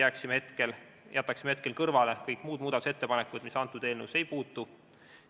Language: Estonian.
Ühtlasi teen ettepaneku, et jätaksime hetkel kõrvale kõik muudatusettepanekud, mis eelnõusse ei puutu.